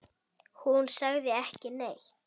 Hún sagði ekki neitt.